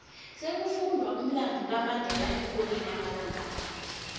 sekufundwa umlando kamandela eenkolweni amalanga la